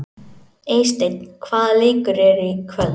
Eysteinn, hvaða leikir eru í kvöld?